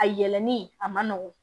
A yɛlɛli a ma nɔgɔn